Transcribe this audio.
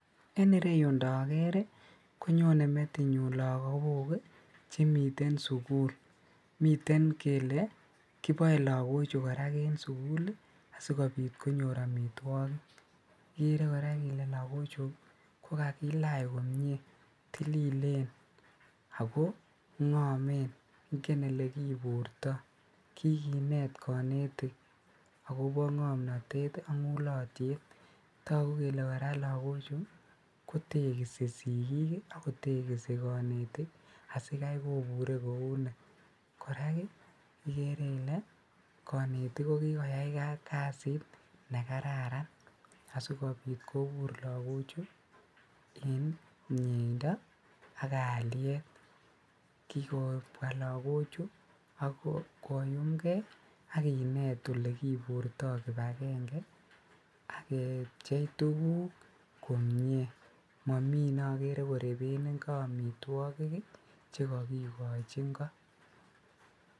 En ireyu ndokerii konyone metinyun lokok chemiten sukul mitenkel kiboe loko chuu koraa en sukulii sikopit konyor omitwoki ikere kora ile lokochuu kokakilech komie tililen ako ngomen ingen olekiburtoo kikinet konetin okopo ngomnotet ak nguliotet toku kele koraa lokochuu kotekisi sikii ak kotekisi konetik asikai kobure kounu, koraa ikere ile konetik kokikoyai kasit nekararan asikopit kobur lokochuu en mieindo ak kalient kikobwa lokochuu ak koyum gee ak kinet olekoburto kipakenge ak kepjei tukuk komie momii neokere koreben inko omitwoki chekokikochi ingo.